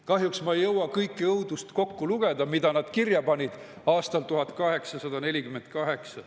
Kahjuks ei jõua ma ette lugeda kogu õudust, mille nad kirja panid aastal 1848.